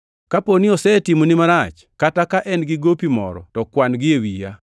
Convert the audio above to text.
Kaponi osetimoni marach, kata ka en-gi gopi moro to kwan-gi e wiya.